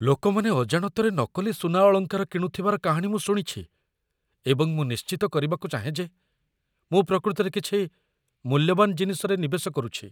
ଲୋକମାନେ ଅଜାଣତରେ ନକଲି ସୁନା ଅଳଙ୍କାର କିଣୁଥିବାର କାହାଣୀ ମୁଁ ଶୁଣିଛି, ଏବଂ ମୁଁ ନିଶ୍ଚିତ କରିବାକୁ ଚାହେଁ ଯେ ମୁଁ ପ୍ରକୃତରେ କିଛି ମୂଲ୍ୟବାନ ଜିନିଷରେ ନିବେଶ କରୁଛି।